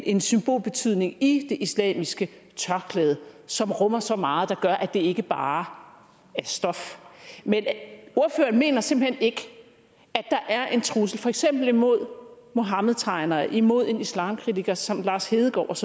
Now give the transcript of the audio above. en symbolbetydning i det islamiske tørklæde som rummer så meget der gør at det ikke bare er stof ordføreren mener simpelt hen ikke at der er en trussel for eksempel imod muhammedtegnere imod en islamkritiker som lars hedegaard